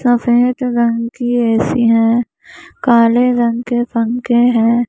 सफेद रंग की ए_सी है काले रंग के पंखे हैं।